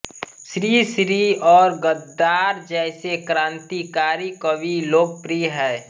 श्रीश्री और गद्दार जैसे क्रांतिकारी कवि लोकप्रिय हैं